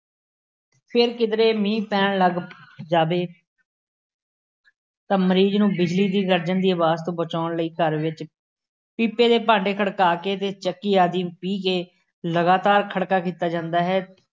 ਫੇਰ ਕਿਧਰੇ ਮੀਂਹ ਪੈਣ ਲੱਗ ਜਾਵੇ ਤਾਂ ਮਰੀਜ਼ ਨੂੰ ਬਿਜਲੀ ਦੀ ਗਰਜ਼ਣ ਦੀ ਆਵਾਜ਼ ਤੋਂ ਬਚਾਉਣ ਲਈ ਘਰ ਵਿੱਚ ਪੀਪੇ ਦੇ ਭਾਂਡੇ ਖੜਕਾ ਕੇ ਅਤੇ ਚੱਕੀ ਆਦਿ ਪੀਹ ਕੇ ਲਗਾਤਾਰ ਖੜਕਾ ਕੀਤਾ ਜਾਂਦਾ ਹੈ।